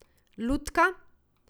Lutka ...